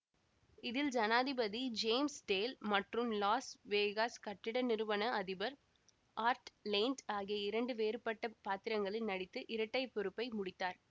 இதில் ஜனாதிபதி James Dale மற்றும் லாஸ் வேகாஸ் கட்டிட நிறுவன அதிபர் ஆர்ட் லேண்ட் ஆகிய இரண்டு வேறுபட்ட பாத்திரங்களில் நடித்து இரட்டை பொறுப்பை முடித்தார்